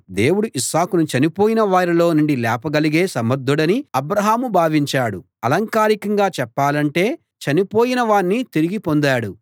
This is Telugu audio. దేవుడు ఇస్సాకును చనిపోయిన వారిలో నుండి లేపగలిగే సమర్ధుడని అబ్రాహాము భావించాడు అలంకారికంగా చెప్పాలంటే చనిపోయిన వాణ్ణి తిరిగి పొందాడు